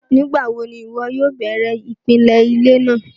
Nígbàwọ̀ ni iwọ yóò bẹ̀rẹ̀ ipilẹ̀ ilẹ̀ náà?